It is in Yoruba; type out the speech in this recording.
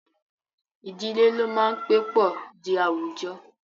Idile lo maa n pe po di awujọ.